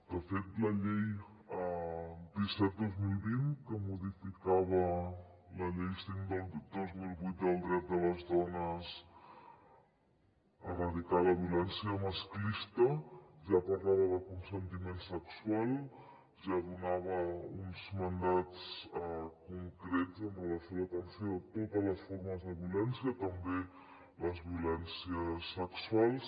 de fet la llei disset dos mil vint que modificava la llei cinc dos mil vuit del dret de les dones a erradicar la violència masclista ja parlava de consentiment sexual ja donava uns mandats concrets amb relació a l’atenció de totes les formes de violència també les violències sexuals